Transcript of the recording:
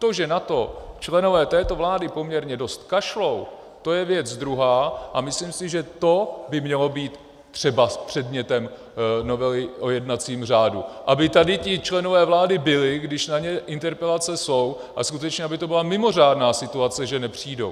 To, že na to členové této vlády poměrně dost kašlou, to je věc druhá, a myslím si, že to by mělo být třebas předmětem novely o jednacím řádu, aby tady ti členové vlády byli, když na ně interpelace jsou, a skutečně aby to byla mimořádná situace, že nepřijdou.